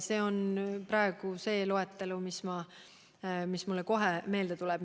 See on praegu see loetelu, mis mulle kohe meelde tuleb.